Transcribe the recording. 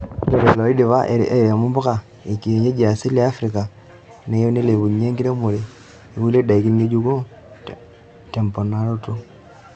Ore lelo oidipa airemo mpuka ekienyeji easili e eafrika neyieu neilepunyie enkiremore ekulie daiki ng'ejuko temponaroto.